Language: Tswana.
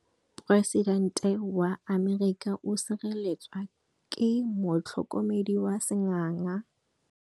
Poresitêntê wa Amerika o sireletswa ke motlhokomedi wa sengaga.